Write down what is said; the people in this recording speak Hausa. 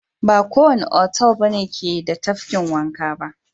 Ba kowanne otal ke da tafkin wanka ba.